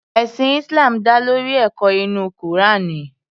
Ẹ̀sìn Islam dá lórí ẹ̀kọ́ inú Kùránì.